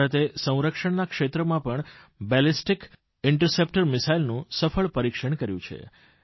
ભારતે સંરક્ષણના ક્ષેત્રમાં પણ બેલિસ્ટિક ઇન્ટરસેપ્ટર મિસાઇલનું સફળ પરીક્ષણ કર્યું છે